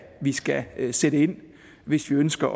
vi skal sætte ind hvis vi ønsker